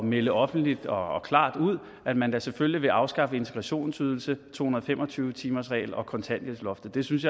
melde offentligt og klart ud at man da selvfølgelig vil afskaffe integrationsydelsen to hundrede og fem og tyve timersreglen og kontanthjælpsloftet synes